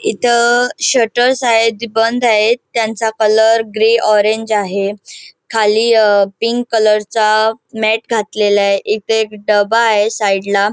इथे शटरस आहेत जे बंद आहेत त्यांचा कलर ग्रे ऑरेंज आहे खाली पिंक कलर चा मॅट घातलेले आहे इथे एक डब्बा आहे साइड ला.